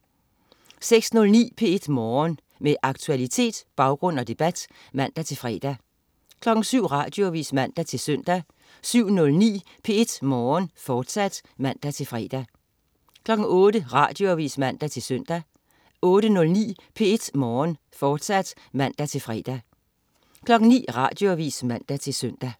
06.09 P1 Morgen. Med aktualitet, baggrund og debat (man-fre) 07.00 Radioavis (man-søn) 07.09 P1 Morgen, fortsat (man-fre) 08.00 Radioavis (man-søn) 08.09 P1 Morgen, fortsat (man-fre) 09.00 Radioavis (man-søn)